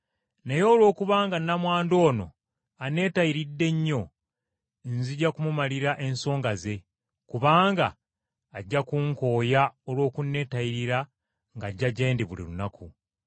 naye olwokubanga nnamwandu ono aneetayiridde nnyo, nzijja kumumalira ensonga ze, kubanga ajja kunkooya olw’okuneetayirira ng’ajja gye ndi buli lunaku!’ ”